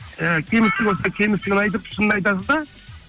ііі кемістік болса кемістігін айтып шынын айтасыз да